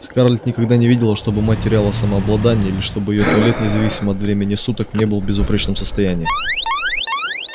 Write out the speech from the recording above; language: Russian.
скарлетт никогда не видела чтобы мать теряла самообладание или чтобы её туалет независимо от времени суток не был в безупречном состоянии